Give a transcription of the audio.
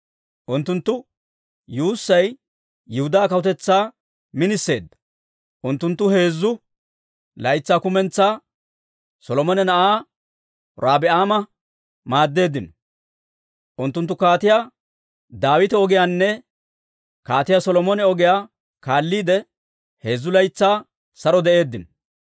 Unttunttu yuussay Yihudaa kawutetsaa miniseedda; unttunttu heezzu laytsaa kumentsaa Solomone na'aa Robi'aama maaddeeddino. Unttunttu Kaatiyaa Daawita ogiyaanne Kaatiyaa Solomone ogiyaa kaalliide, heezzu laytsaa saro de'eeddino.